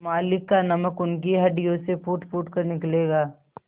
मालिक का नमक उनकी हड्डियों से फूटफूट कर निकलेगा